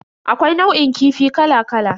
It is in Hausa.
Akwai nau'in kifi kala kala.